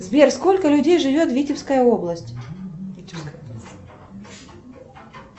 сбер сколько людей живет в витебской области